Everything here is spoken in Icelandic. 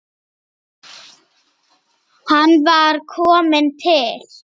Hann var kominn til